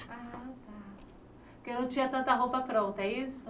Ah tá porque não tinha tanta roupa pronta, é isso?